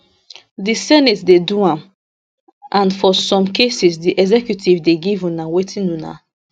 di senate dey do am and for some cases di executive dey give una wetin una